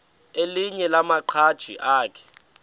elinye lamaqhaji akhe